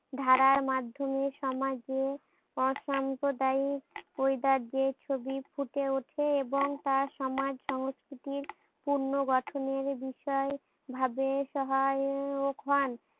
ধারার মাধ্যমে সমাজে অসম্প্রদায়িক ওই রাজ্যের ছবি ফুটে উঠে এবং তা সমাজ সংস্কৃতির পূর্ণ গঠনের বিষয় ভাবে সহায়ক হন।